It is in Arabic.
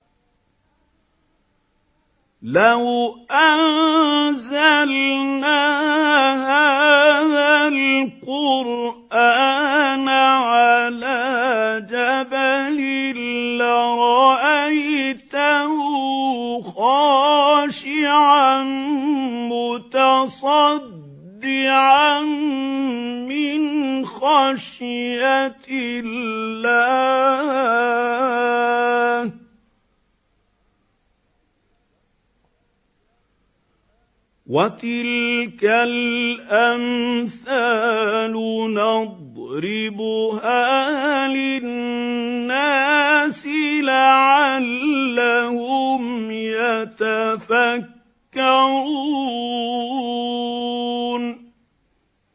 لَوْ أَنزَلْنَا هَٰذَا الْقُرْآنَ عَلَىٰ جَبَلٍ لَّرَأَيْتَهُ خَاشِعًا مُّتَصَدِّعًا مِّنْ خَشْيَةِ اللَّهِ ۚ وَتِلْكَ الْأَمْثَالُ نَضْرِبُهَا لِلنَّاسِ لَعَلَّهُمْ يَتَفَكَّرُونَ